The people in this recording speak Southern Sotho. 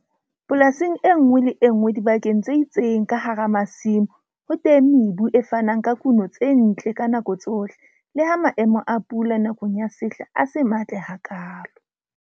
Polasing e nngwe le e nngwe dibakeng tse itseng ka hara masimo ho teng mebu e fanang ka kuno tse ntle ka nako tsohle le ha maemo a pula nakong ya sehla a se matle hakaalo.